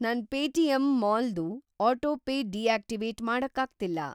ನನ್‌ Paytm mall ದು autopay deactivate ಮಾಡಕ್ಕಾಗ್ತಿಲ್ಲ.